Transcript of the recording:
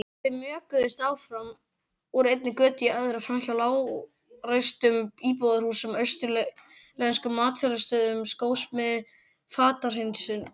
Þau mjökuðust áfram, úr einni götu í aðra, framhjá lágreistum íbúðarhúsum, austurlenskum matsölustöðum, skósmið, fatahreinsun.